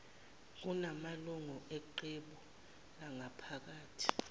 kunamalungu eqebu langaphakathi